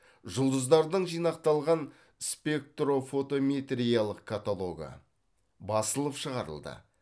жұлдыздардың жинақталған спектрфотометриялық каталогы басылып шығарылды